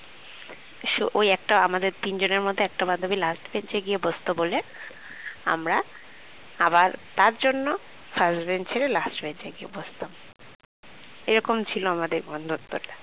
সে ওই একটা আমাদের তিনজনের মধ্যে একটা বান্ধবী last bench এ গিয়ে বোসতো বলে আমরা আবার তার জন্য first bench ছেড়ে last bench এ গিয়ে বসতাম এরকম ছিল আমাদের বন্ধুত্বটা